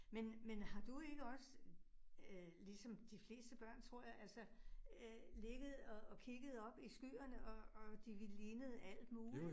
Men, men har du ikke også øh ligesom de fleste børn tror jeg altså øh ligget og og kigget op i skyerne, og og de lignede alt muligt